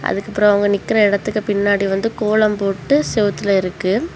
அதுக்கப்புறம் அவங்க நிக்கிற இடத்துக்கு பின்னாடி வந்து கோலம் போட்டு செவுத்துல இருக்கு.